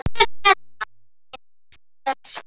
En hversu algengt er það?